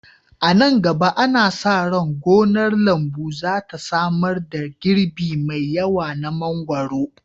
A nan gaba, ana sa ran gonar lambu za ta samar da girbi mai yawa na mangwaro